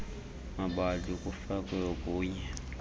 mabali kufakwe okunye